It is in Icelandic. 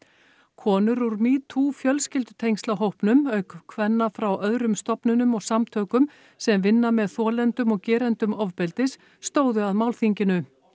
konur úr metoo fjölskyldutengsla hópnum auk kvenna frá öðrum stofnunum og samtökum sem vinna með þolendum og gerendum ofbeldis stóðu að málþinginu